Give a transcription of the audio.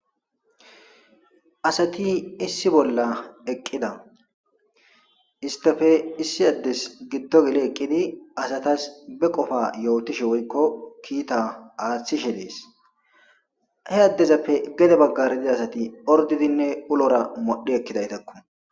Asati issi bolla eqqida isttape issi addezi giddo geledi be qopa aathishe dees he addezape gede baggara diza asati orddidinne ulora modhdhi ekkidayssako.